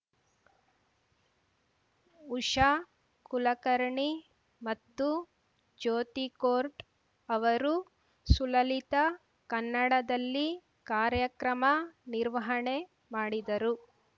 ಉಷಾ ಕುಲಕರ್ಣಿ ಮತ್ತು ಜ್ಯೋತಿ ಕೋರ್ಟ್ ಅವರು ಸುಲಲಿತ ಕನ್ನಡದಲ್ಲಿ ಕಾರ್ಯಕ್ರಮ ನಿರ್ವಹಣೆ ಮಾಡಿದರು